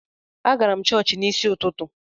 Agara m chọọchị n’isi ụtụtụ